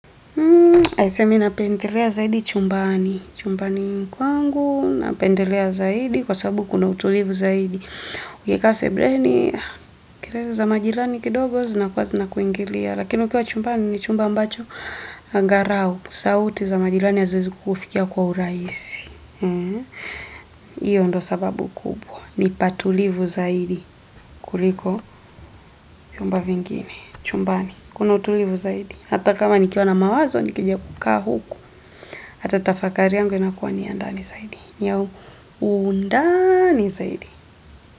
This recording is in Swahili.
Aise mimi napendelea zaidi chumbani. Chumbani kwangu, napendelea zaidi kwa sababu kuna utulivu zaidi. Ukikaase buleni, kelele za majirani kidogo zinakuwa zina kuingilia. Lakini ukiwa chumbani ni chumba ambacho angalau. Sauti za majirani haziwezi kukufikia kwa urahisi. Iyo ndo sababu kubwa Nipatulivu zaidi kuliko vyumba vingine chumbani Kuna utulivu zaidi Hata kama nikiwana mawazo nikija kukaa huku Hata tafakariyangu inakuwa niyandani zaidi niyaundani zaidi.